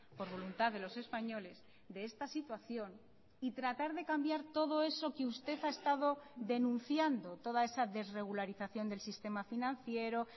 por voluntad de los españoles de esta situación y tratar de cambiar todo eso que usted ha estado denunciando toda esa desregularización del sistema financiero